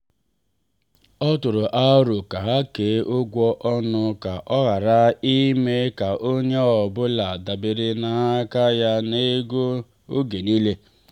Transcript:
ọ tụrụ aro ka ha kee ụgwọ ọnụ ka ọ ghara ime ka onye ọ bụla dabere n’aka ya n’ego n’oge niile.